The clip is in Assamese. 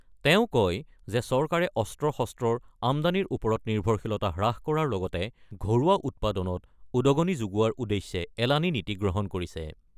তেওঁ কয় যে চৰকাৰে অস্ত্ৰ-শস্ত্ৰৰ আমদানীৰ ওপৰত নিৰ্ভৰশীলতা হ্ৰাস কৰাৰ লগতে ঘৰুৱা উৎপাদনত উদগণি যোগোৱাৰ উদ্দেশ্যে এলানি নীতি গ্ৰহণ কৰিছে।